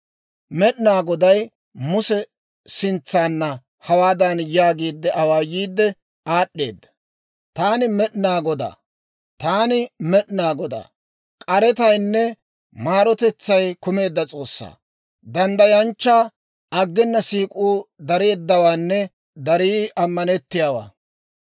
Med'inaa Goday Muse sintsaana hawaadan yaagiide awaayiidde aad'd'eedda; «Taani Med'inaa Godaa; Taani Med'inaa Godaa; k'aretaynne maarotetsay kumeedda S'oossaa, danddayanchchaa, aggena siik'uu dareeddawaanne darii ammanettiyaawaa.